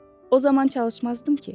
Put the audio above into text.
O zaman çalışmazdım ki?